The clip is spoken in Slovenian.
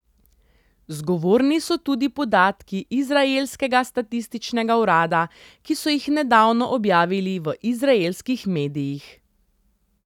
Zgovorni so tudi podatki izraelskega statističnega urada, ki so jih nedavno objavili v izraelskih medijih.